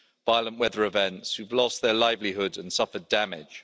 violent weather events, who've lost their livelihoods and suffered damage.